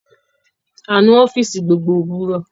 A nu ọfiisi gbogbo òwúrò